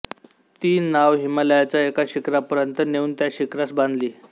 ती नाव हिमालयाच्या एका शिखरापर्यंत नेऊन त्या शिखरास बांधली